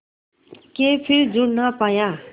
के फिर जुड़ ना पाया